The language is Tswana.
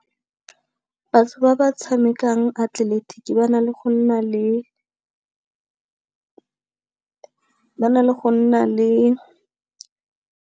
Batho ba ba tshamekang atleletiki ba na le go nna le .